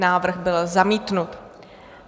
Návrh byl zamítnut.